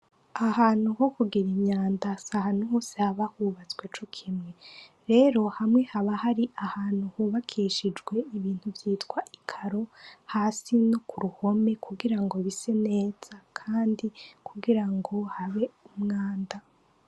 Ahantu ho kugira inyanda sa hanu hose haba hubatswe co kimwe rero hamwe haba hari ahantu hubakishijwe ibintu vyitwa ikaro hasi no ku ruhome kugira ngo bise neza, kandi kugira ngo habe umwanda.